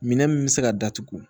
Minɛn min bɛ se ka datugu